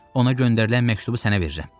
Ona göndərilən məktubu sənə verirəm.